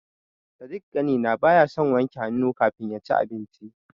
Sadik ƙanina baya son wanke hannu kafin yaci abinci.